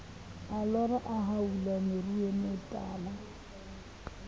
a lora a haola meruemetala